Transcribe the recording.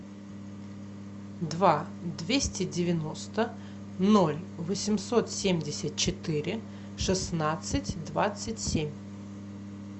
два двести девяносто ноль восемьсот семьдесят четыре шестнадцать двадцать семь